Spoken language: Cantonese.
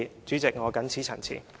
主席，我謹此陳辭。